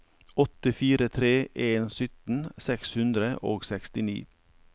åtte fire tre en sytten seks hundre og sekstini